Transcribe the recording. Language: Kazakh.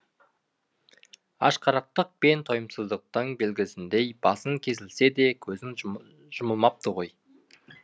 ашқарақтық пен тойымсыздықтың белгісіндей басың кесілсе де көзің жұмылмапты ғой